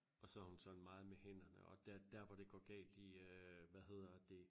Og så er hun sådan meget med hænderne og der der hvor det går galt i øh hvad hedder det